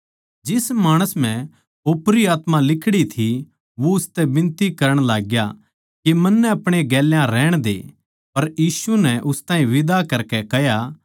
जिस माणस म्ह ओपरी आत्मा लिकड़ी थी वो उसतै बिनती करण लाग्या के मन्नै अपणे गेल्या रहण दे पर यीशु नै उस ताहीं बिदा करकै कह्या